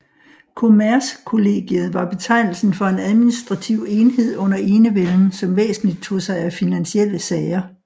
Kommercekollegiet var betegnelsen for en administrativ enhed under enevælden som væsentligst tog sig af finansielle sager